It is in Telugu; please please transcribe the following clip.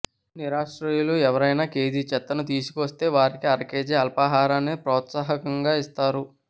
నిరాశ్రయులు ఎవరైనా కేజీ చెత్తను తీసుకువస్తే వారికి అరకేజీ అల్పాహారాన్ని ప్రోత్సాహకంగా ఇస్తారు